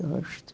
Gosto.